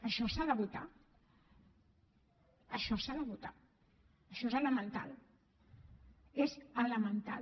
això s’ha de votar això s’ha de votar això és elemental és elemental